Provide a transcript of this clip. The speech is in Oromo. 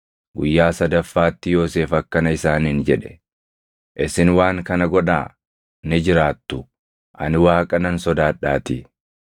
Guyyaa sadaffaatti Yoosef akkana isaaniin jedhe; “Isin waan kana godhaa; ni jiraattu; ani Waaqa nan sodaadhaatii.